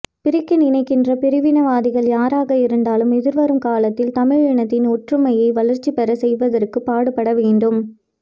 பிரிக்க நினைக்கின்ற பிரிவினவாதிகள் யாராக இருந்தாலும் எதிர்வரும் காலத்தில் தமிழ் இனத்தின் ஒற்றுமையை வளர்ச்சி பெற செய்வதற்கு பாடுபட வேண்டும்